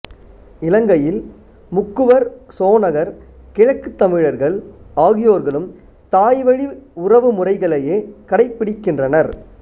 இலங்கையில் முக்குவர் சோனகர் கிழக்குத் தமிழர்கள் ஆகியோர்களும் தாய்வழி உறவு முறைகளையே கடைப்பிடிக்கின்றனர்